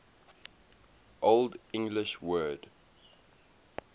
old english word